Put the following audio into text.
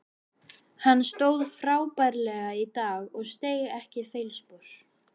Hann stóð frábærlega í dag og steig ekki feilspor.